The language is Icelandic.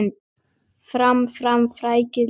Fram, fram, frækið lið!